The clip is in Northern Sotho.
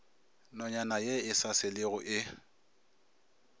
nonyana e sa selego e